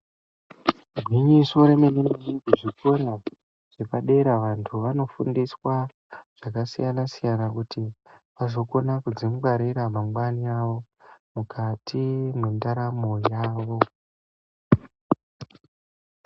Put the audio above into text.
Igwinyiso remene mene muzvikora zvepadera antu vanofundiswa zvakasiyana siyana kuti vazokone kudzingwarira mangwanani mukati mwendaramo yavo.